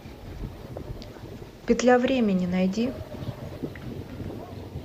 петля времени найди